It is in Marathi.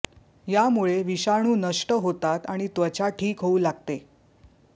यामुळे विषाणू नष्ट होतात आणि त्वचा ठीक होऊ लागते